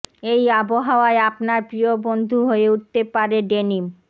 এই আবহাওয়ায় আপনার প্রিয় বন্ধু হয়ে উঠতে পারে ডেনিম